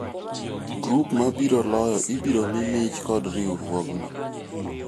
grup mabiro loyo ibiro mii mich kod riwruogno